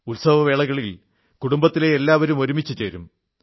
ഉത്സവവേളകളിൽ കുടുംബത്തിലെ എല്ലാവരും ഒരുമിച്ചു ചേരും